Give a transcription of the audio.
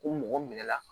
Ko mɔgɔ minɛ la